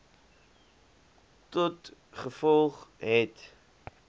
tot gevolg het